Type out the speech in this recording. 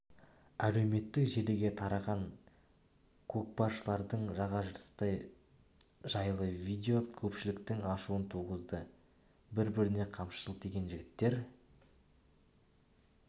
әлеуметтік желіге тараған көкпаршылардың жаға жыртысы жайлы видео көпшіліктің ашуын туғызды бір біріне қамшы сілтеген жігіттер